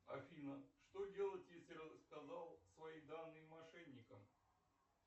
афина что делать если рассказал свои данные мошенникам